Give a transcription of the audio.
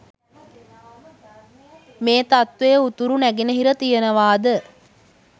මේ තත්ත්වය උතුරු නැගෙනහිර තියෙනවාද